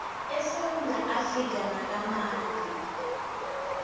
esewula afrika nakamanye